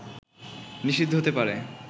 নিষিদ্ধ হতে পারে